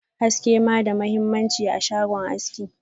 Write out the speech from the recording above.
haske ma da mahimmanci a shagon haski.